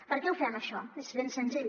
per què ho fem això és ben senzill